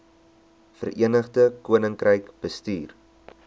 verenigde koninkryk bestuur